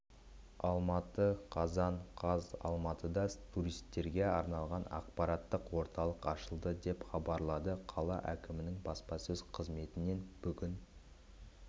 алматы қазан қаз алматыда туристерге арналған ақпараттық орталық ашылды деп хабарлады қала әкімінің баспасөз қызметінен бүгін